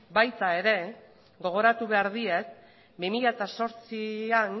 baita gogoratu behar diet ere bi mila zortzian